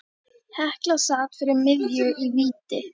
Hekla sat fyrir miðju í víti.